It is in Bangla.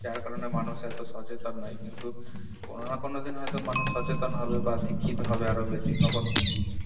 যার কারনে মানুষ এত সচেতন নাই কিন্তু কোন না কোন দিন তো মানুষ সচেতন হবে বা শিক্ষিত হবে আরো বেশি তখন